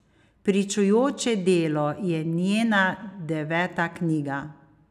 Pričujoče delo je njena deveta knjiga.